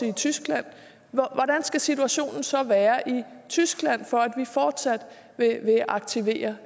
i tyskland hvordan skal situationen så være i tyskland for at vi fortsat vil aktivere